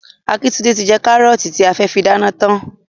Akíntúndé ti jẹ kárọ́ọ̀tì tí a fẹ́ fi dáná tán.